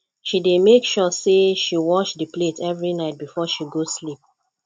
she dey make sure sey she wash di plate every night before she go sleep